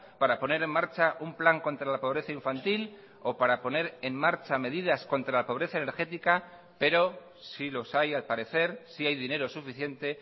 para poner en marcha un plan contra la pobreza infantil o para poner en marcha medidas contra la pobreza energética pero sí los hay al parecer sí hay dinero suficiente